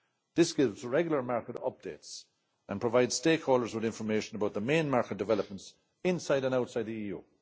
This gives regular market updates and provides stakeholders with information about the main market developments inside and outside the EU.